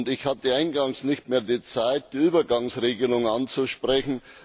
Ich hatte eingangs nicht mehr die Zeit, die Übergangsregelung anzusprechen.